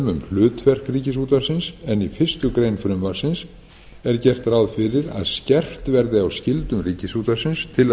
um hlutverk ríkisútvarpsins en í fyrstu grein frumvarpsins er gert ráð fyrir að skerpt verði á skyldum ríkisútvarpsins til að